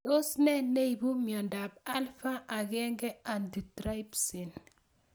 Tos ne neipu miondop Alpha 1 antitrypsin